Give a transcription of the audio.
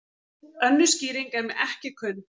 Önnur skýring er mér ekki kunn.